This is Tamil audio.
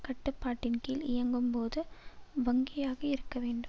கட்டுப்பாட்டின்கீழ் இயங்கும் போது வங்கியாக இருக்க வேண்டும்